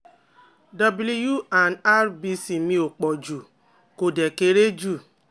W and RBC mi opoju ko de kere ju